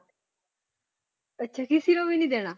ਅੱਛਾ ਕਿਸੇ ਨੂੰ ਵੀ ਨੀ ਦੇਣਾ